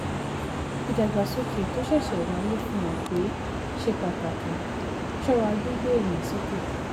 "ìdàgbàsókè tó ṣẹ̀ṣẹ̀ wáyé fi hàn pé ṣe pàtàkì ṣọ́ra gbígbé èlé sókè."